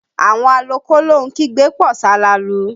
Àwọn alọ kólóhun kígbe pọ̀ salalu